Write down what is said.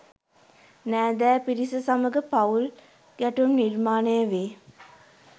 නෑදෑ පිරිස සමඟ පවුල් ගැටුම් නිර්මාණය වේ.